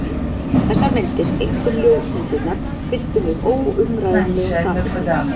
Þessar myndir, einkum ljósmyndirnar, fylltu mig óumræðilegum dapurleika.